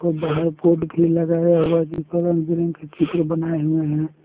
बाहर बोर्ड भी लगाया हुआ है जिस पर रंग बिरंग का चित्र बनाए हुए है।